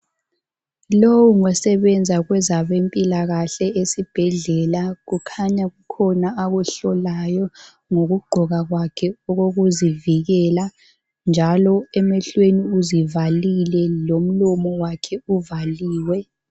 Lowu ngosebenza kwezabempilakahle esibhedlela. Kukhanya kukhona akuhlolayo ngokugqoka kwakhe okokuzivikela njalo emehlweni uzivalile lomlomo wakhe uvaliwe.